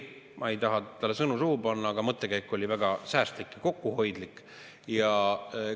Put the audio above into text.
Ma ei taha talle sõnu suhu panna, aga mõttekäik oli, et väga säästlik ja kokkuhoidlik.